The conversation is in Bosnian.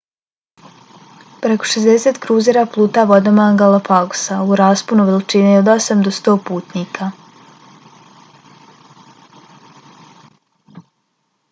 preko 60 kruzera pluta vodama galapagosa - u rasponu veličine od 8 do 100 putnika